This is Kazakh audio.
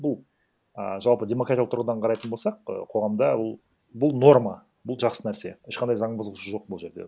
бұл ііі жалпы демократиялық тұрғыдан қарайтын болсақ і қоғамда бұл норма бұл жақсы нәрсе ешқандай заң бұзушылық жоқ бұл жерде